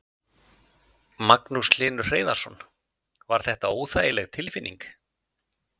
Magnús Hlynur Hreiðarsson: Var þetta óþægileg tilfinning?